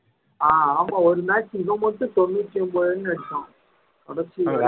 ஆஹ் ஆமா ஒரு match இவன் மட்டும் தொண்ணூத்தி ஒன்பது run எடுத்தான்